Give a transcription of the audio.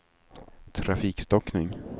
trafikstockning